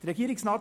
Regierungsrat